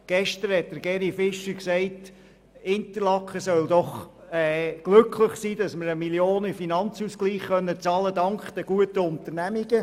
Gestern hat Grossrat Fischer gesagt, Interlaken solle sich doch glücklich schätzen, dass es dank der guten Unternehmungen 1 Mio. Franken in den Finanzausgleich bezahlen kann.